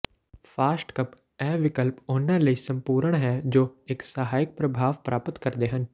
soft cup ਇਹ ਵਿਕਲਪ ਉਹਨਾਂ ਲਈ ਸੰਪੂਰਣ ਹੈ ਜੋ ਇੱਕ ਸਹਾਇਕ ਪ੍ਰਭਾਵ ਪ੍ਰਾਪਤ ਕਰਦੇ ਹਨ